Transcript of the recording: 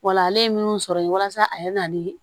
Wala ale ye min sɔrɔ ye walasa a ye na ni